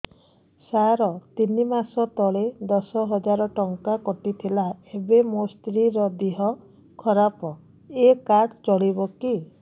ସାର ତିନି ମାସ ତଳେ ଦଶ ହଜାର ଟଙ୍କା କଟି ଥିଲା ଏବେ ମୋ ସ୍ତ୍ରୀ ର ଦିହ ଖରାପ ଏ କାର୍ଡ ଚଳିବକି